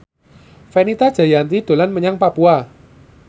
Fenita Jayanti dolan menyang Papua